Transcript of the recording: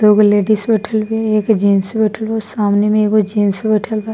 दोगो लेडीज बइठल बा एक जेंट्स बइठल बा सामने में एगो जेंट्स बइठल बा।